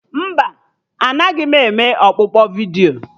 Mba, anaghị m eme ọkpụkpọ vidiyo